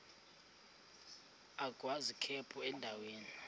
agwaz ikhephu endaweni